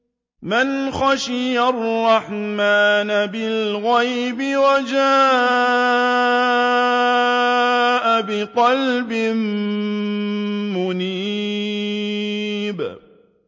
مَّنْ خَشِيَ الرَّحْمَٰنَ بِالْغَيْبِ وَجَاءَ بِقَلْبٍ مُّنِيبٍ